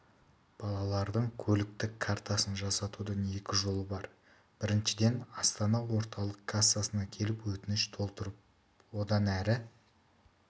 балалардың көліктік картасын жасатудың екі жолы бар біріншіден астана орталық кассасына келіп өтініш толтырып одан әрі